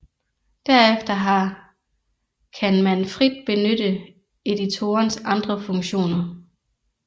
Derefter har kan man frit benytte editorens andre funktioner